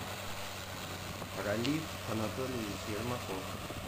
ралиф анатольевич ермаков